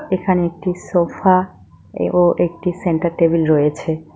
এখানে একটি সোফা এবং একটি সেন্টার টেবিল রয়েছে।